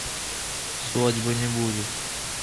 свадьбы не будет